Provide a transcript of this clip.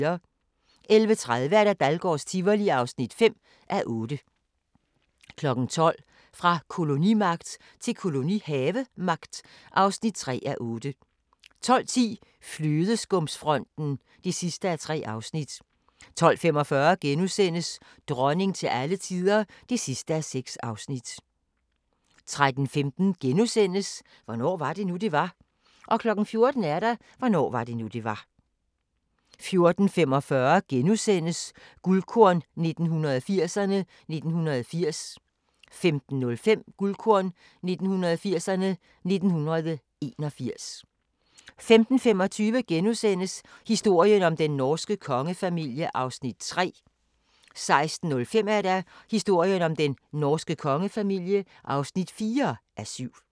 11:30: Dahlgårds Tivoli (5:8) 12:00: Fra kolonimagt til kolonihavemagt (3:8) 12:10: Flødeskumsfronten (3:3) 12:45: Dronning til alle tider (6:6)* 13:15: Hvornår var det nu, det var? * 14:00: Hvornår var det nu, det var? 14:45: Guldkorn 1980'erne: 1980 * 15:05: Guldkorn 1980'erne: 1981 15:25: Historien om den norske kongefamilie (3:7)* 16:05: Historien om den norske kongefamilie (4:7)